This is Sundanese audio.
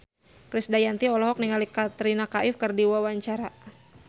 Krisdayanti olohok ningali Katrina Kaif keur diwawancara